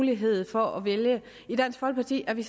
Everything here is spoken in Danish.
mulighed for at vælge i dansk folkeparti er vi